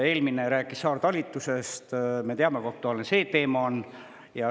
Eelmine rääkis saartalitlusest – me teame, kui aktuaalne see teema on.